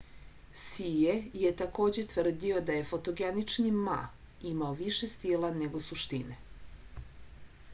sije je takođe tvrdio da je fotogenični ma imao više stila nego suštine